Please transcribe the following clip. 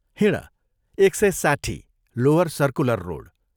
" हिंड, एकसय साठ्ठी, lower circular road.